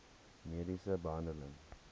mediese behandeling